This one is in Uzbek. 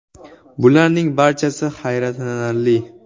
Bularning barchasi hayratlanarli.